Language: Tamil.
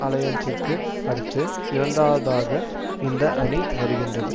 அலையன்சிற்கு அடுத்து இரண்டாவதாக இந்த அணி வருகின்றது